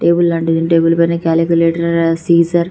దేవుళ్ళు లాంటిది టేబుల్ పైన క్యాలిక్యులేటర్ సీజర్ --.